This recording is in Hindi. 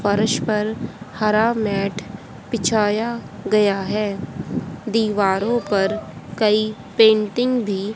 फर्श पर हरा मैट बिछाया गया हैं दीवारों पर कई पेंटिंग भी--